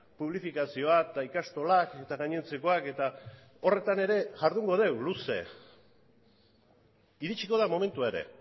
publifikazioa eta ikastolak eta gainontzekoak eta horretan ere jardungo dugu luze iritsiko da momentua ere